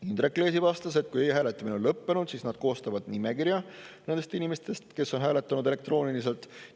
Indrek Leesi vastas, et kui hääletamine on lõppenud, siis nad koostavad nimekirja nendest inimestest, kes on hääletanud elektrooniliselt.